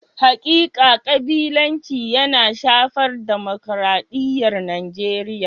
Hakika kabilanci yana shafar dimukraɗiyar Nijeriya.